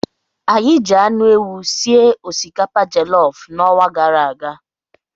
Anyị ji anụ ewu sie osikapa jelof n'ọnwa gara aga.